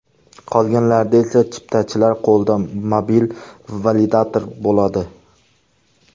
Qolganlarida esa chiptachilar qo‘lida mobil validator bo‘ladi.